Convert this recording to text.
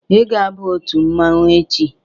Ị ga aba otu mmanwu echi!